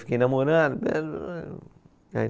Fiquei namorando.